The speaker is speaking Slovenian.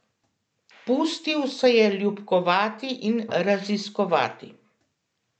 Pustil se je ljubkovati in raziskovati.